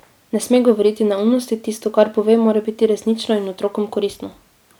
Ne sme govoriti neumnosti, tisto, kar pove, mora biti resnično in otrokom koristno.